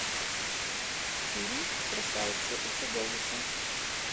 фильм красавица и чудовище